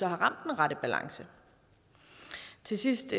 har ramt den rette balance til sidst